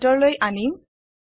ইয়াক ভিতৰলৈ আনিম